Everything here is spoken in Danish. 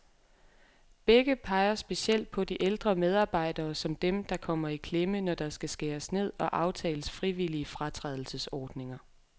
Begge peger specielt på de ældre medarbejdere, som dem, der kommer i klemme, når der skal skæres ned og aftales frivillige fratrædelsesordninger.